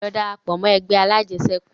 Lọ darapọ̀ mọ́ ẹgbẹ́ alajẹsẹ́kù!